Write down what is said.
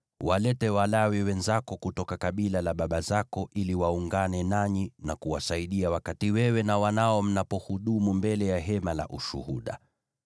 Walete Walawi wenzako kutoka kabila la baba zako ili waungane nanyi na kuwasaidia wakati wewe na wanao mnapohudumu mbele ya Hema la Ushuhuda.